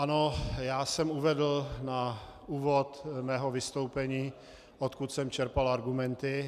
Ano, já jsem uvedl na úvod svého vystoupení, odkud jsem čerpal argumenty.